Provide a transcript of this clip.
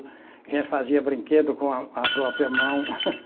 A gente fazia brinquedo com a a própria mão.